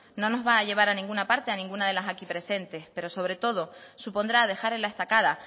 no nos va a llevar a ninguna parte a ninguna de las aquí presente pero sobre todo supondrá dejar en la estacada